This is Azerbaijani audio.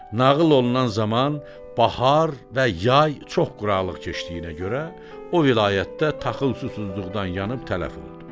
Nağıl olunan zaman bahar və yay çox quraqlıq keçdiyinə görə, o vilayətdə taxıl susuzluqdan yanıb tələf oldu.